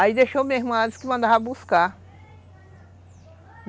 Aí deixou minha irmã, ela disse que mandava buscar.